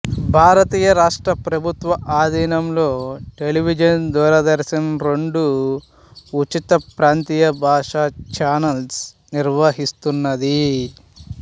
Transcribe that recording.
భారతీయ రాష్ట్ర ప్రభుత్వ ఆధీనంలో టెలివిజన్ దూరదర్శన్ రెండు ఉచిత ప్రాంతీయ భాషా చానల్స్ నిర్వహిస్తున్నది